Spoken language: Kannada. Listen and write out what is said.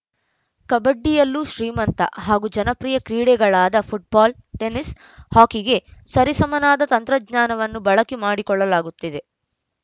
ಕಬಡ್ಡಿಯಲ್ಲೂ ಶ್ರೀಮಂತ ಹಾಗೂ ಜನಪ್ರಿಯ ಕ್ರೀಡೆಗಳಾದ ಫುಟ್ಬಾಲ್‌ ಟೆನಿಸ್‌ ಹಾಕಿಗೆ ಸರಿಸಮಾನದ ತಂತ್ರಜ್ಞಾನವನ್ನು ಬಳಕೆ ಮಾಡಿಕೊಳ್ಳಲಾಗುತ್ತಿದೆ